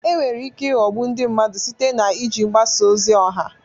Enwere ike ịghọgbu ndị mmadụ site na iji mgbasa ozi ọha.